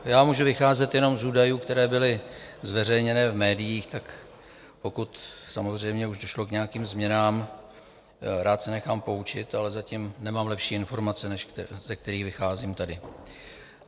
Já můžu vycházet jenom z údajů, které byly zveřejněné v médiích, tak pokud samozřejmě už došlo k nějakým změnám, rád se nechám poučit, ale zatím nemám lepší informace, než ze kterých vycházím tady.